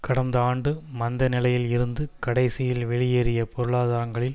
கடந்த ஆண்டு மந்த நிலையில் இருந்து கடைசியில் வெளியேறிய பொருளாதாரங்களில்